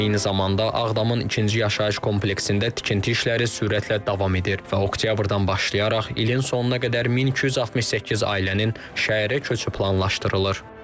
Eyni zamanda Ağdamın ikinci yaşayış kompleksində tikinti işləri sürətlə davam edir və Oktyabrdan başlayaraq ilin sonuna qədər 1268 ailənin şəhərə köçü planlaşdırılır.